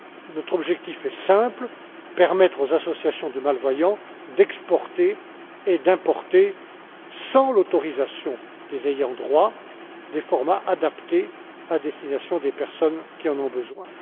Notre objectif est simple permettre aux associations de malvoyants d'exporter et d'importer, sans l'autorisation des ayants droit, des formats adaptés à destination des personnes qui en ont besoin.